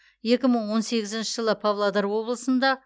екі мың он сегізінші жылы павлодар облысында